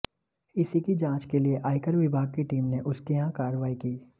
इसी की जांच के लिए आयकर विभाग की टीम ने उसके यहां कार्रवाई की